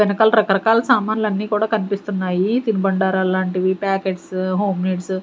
వెనకాల రకరకాల సామాన్లు అన్నీ కూడా కనిపిస్తున్నాయి తిను బండారాల లాంటివి ప్యాకెట్స్ హోమ్ నీడ్స్ .